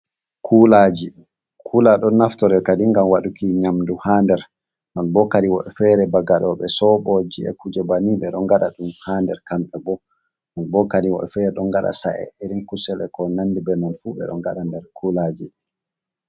Kulaji: Kula ɗon naftora kadi ngam waɗuki nyamdu ha nder. Non bo kadi woɓɓe fere bo gaɗoɓe soɓoji e'kuje banin ɓeɗo ngada ɗum ha nder kamɓe bo. Ɗum bo kadi woɓɓe fere ɗon ngaɗa sa’e irin kusel ko nandi be non fu ɓeɗo ngada nder kulaji.